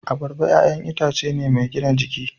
Abarba 'ya'yan itace ne mai gina jiki.